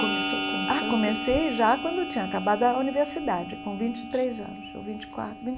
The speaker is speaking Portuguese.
Começou com quanto... Ah, comecei já quando eu tinha acabado a universidade, com vinte e três anos, ou vinte e quatro vinte.